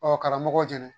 Ɔ karamɔgɔw jɛnɛ